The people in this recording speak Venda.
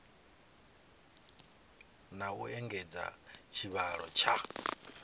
na u engedza tshivhalo tsha